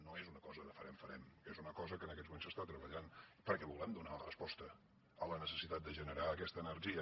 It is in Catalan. no és una cosa de farem farem és una cosa que en aquests moments s’està treballant perquè volem donar resposta a la necessitat de generar aquesta energia